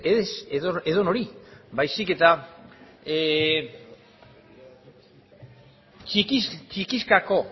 ez edonori baizik eta txikizkako